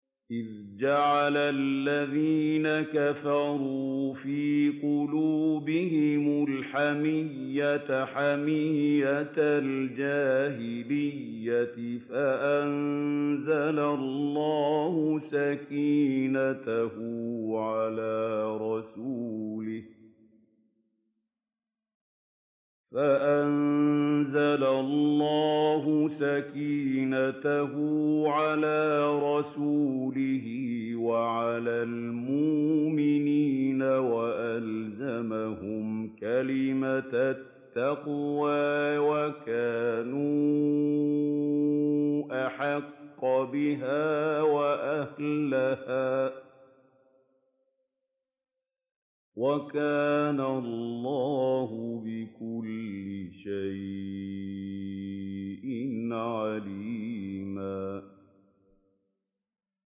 إِذْ جَعَلَ الَّذِينَ كَفَرُوا فِي قُلُوبِهِمُ الْحَمِيَّةَ حَمِيَّةَ الْجَاهِلِيَّةِ فَأَنزَلَ اللَّهُ سَكِينَتَهُ عَلَىٰ رَسُولِهِ وَعَلَى الْمُؤْمِنِينَ وَأَلْزَمَهُمْ كَلِمَةَ التَّقْوَىٰ وَكَانُوا أَحَقَّ بِهَا وَأَهْلَهَا ۚ وَكَانَ اللَّهُ بِكُلِّ شَيْءٍ عَلِيمًا